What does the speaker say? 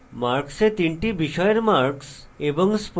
marks এ তিনটি বিষয়ের marks এবং